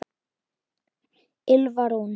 Ylfa Rún.